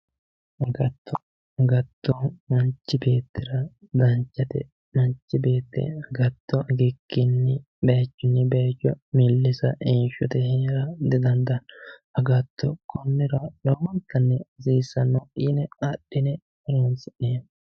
Agatto agatto manchi beettira danchate manchi beetti agatto agikkinni baychunni baycho millisa heeshshote heera didandaanno agatto konnira lowontanni hasiissanno yine adhine horoonsi'neemmo